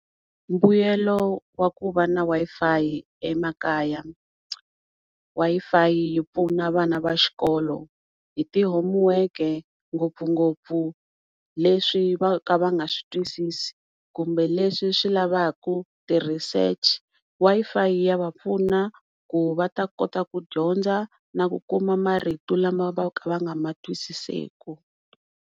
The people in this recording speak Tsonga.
Mbuyelo wa ku va na Wi-Fi emakaya Wi-Fi yi pfuna vana va xikolo hi ti homework ngopfungopfu leswi vo ka va nga switwisisi kumbe leswi swi lavaka ti-research Wi-Fi ya va pfuna ku va ta kota ku dyondza na ku kuma marito lama vo ka va nga matwisiseku.